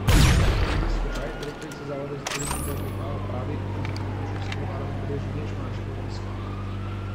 Iris Skočaj, direktorica Zavoda za turizem Trg Vipava, pravi, da zaradi vročinskega vala ne beležijo nič manjšega obiska.